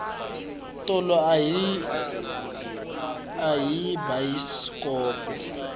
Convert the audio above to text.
tolo a hi vona bayisikopo